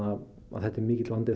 þetta er mikill vandi